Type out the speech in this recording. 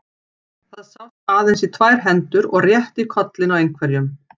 Það sást aðeins í tvær hendur og rétt í kollinn á einhverjum.